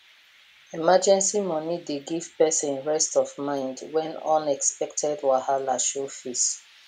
emergency money dey give person rest of mind when unexpected wahala show face